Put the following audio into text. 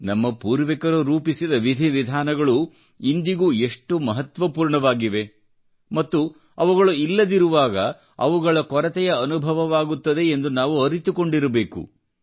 ನಮ್ಮ ಪೂರ್ವಿಕರು ರೂಪಿಸಿದ ವಿಧಿ ವಿಧಾನಗಳು ಇಂದಿಗೂ ಎಷ್ಟು ಮಹತ್ವಪೂರ್ಣವಾಗಿವೆ ಮತ್ತು ಅವುಗಳು ಇಲ್ಲದಿರುವಾಗ ಅವುಗಳ ಕೊರತೆಯ ಅನುಭವವಾಗುತ್ತದೆ ಎಂದು ನಾವು ಅರಿತುಕೊಂಡಿರಬೇಕು